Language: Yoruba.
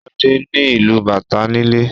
Shade ni ilú bàtá nílé.